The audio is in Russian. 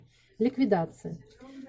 ликвидация